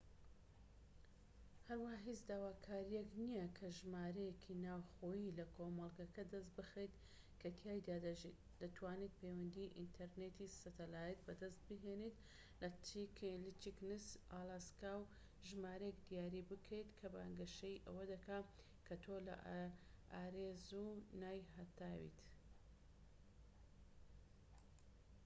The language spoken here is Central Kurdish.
هەروەها هیچ داواکاریەک نییە کە ژمارەیەکی ناوخۆیی لە کۆمەڵگەکە دەست بخەیت کە تێیدا دەژیت؛ دەتوانیت پەیوەندی ئینتەرنێتی سەتەلایت بەدەست بهێنیت لە چکینس، ئالاسکا و ژمارەیەک دیاری بکەیت کە بانگەشەی ئەوە دەکات کە تۆ لە ئاریزۆنای هەتاویت‎